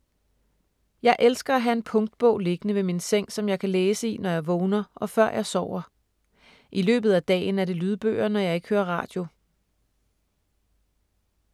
Jeg elsker at have en punktbog liggende ved min seng som jeg kan læse i, når jeg vågner og før jeg sover. I løbet af dagen er det lydbøger, når jeg ikke hører radio.